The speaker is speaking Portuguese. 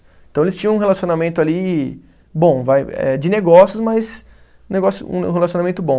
Então eles tinham um relacionamento ali, bom, vai eh de negócios, mas negócio um relacionamento bom.